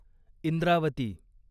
Indravati